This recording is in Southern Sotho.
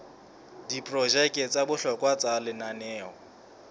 diprojeke tsa bohlokwa tsa lenaneo